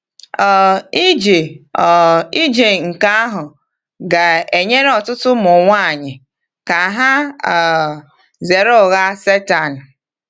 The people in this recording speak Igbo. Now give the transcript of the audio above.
um Ije um Ije nke ahụ ga-enyere ọtụtụ ụmụ nwanyị ka ha um zere ụgha Satani.